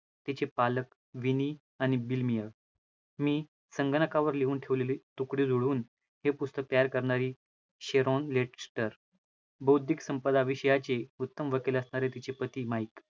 तिचे पालक विनी आणि बिलमिय, मी संगणकावर लिहून ठेवलेली तुकडे जोडून हे पुस्तक तयार करणारी शेरॉन लेटस्टर, बौद्धिक संपदा विषयाची उत्तम वकील असणारे तिचे पती माइक